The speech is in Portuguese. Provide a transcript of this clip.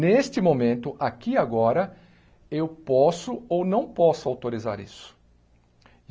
Neste momento, aqui e agora, eu posso ou não posso autorizar isso.